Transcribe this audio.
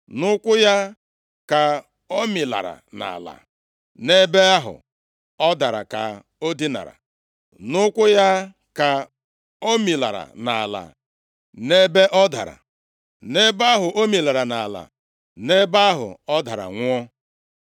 Nʼụkwụ ya ka o milara nʼala, nʼebe ahụ ọ dara, ka o dinara. Nʼụkwụ ya ka o milara nʼala, nʼebe ọ dara, nʼebe ahụ o milara nʼala, nʼebe ahụ ọ dara nwụọ.